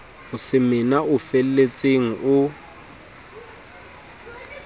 o semena o felletseng o